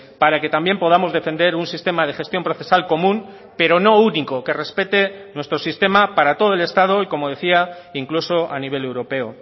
para que también podamos defender un sistema de gestión procesal común pero no único que respete nuestro sistema para todo el estado y como decía incluso a nivel europeo